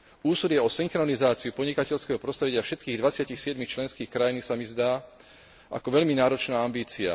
Úsilie o synchronizáciu podnikateľského prostredia všetkých dvadsiatich siedmich členských krajín sa mi zdá ako veľmi náročná ambícia.